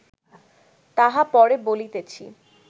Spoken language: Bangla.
তাহা পরে বলিতেছি